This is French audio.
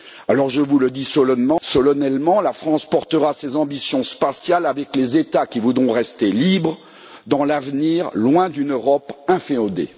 Alors, je vous le dis solennellement, la France portera ses ambitions spatiales avec les États qui voudront rester libres dans l'avenir, loin d'une Europe inféodée.